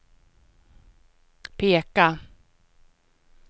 peka